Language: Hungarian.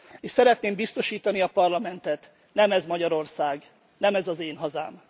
És szeretném biztosítani a Parlamentet nem ez Magyarország, nem ez az én hazám.